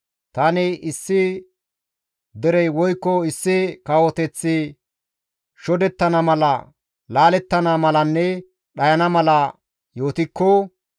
Tani issi derey woykko issi kawoteththi shodettana mala, laalettana malanne dhayana mala yootikko,